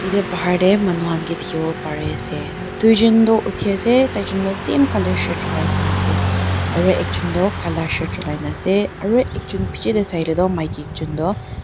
yatae bahar tae manu khan kae dikhiwo pariase tuijon toh uthiase taijon toh same colour shirt cholai kaena ase aro ekjon toh kala shirt cholai naase aro ekjon bichae tae sailae tu maki ekjon toh.